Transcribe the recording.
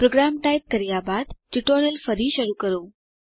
programme type કર્યા બાદ tutorial ફરી શરૂ કરો